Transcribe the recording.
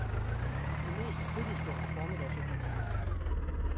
De mest kritiske er formiddagsaviserne.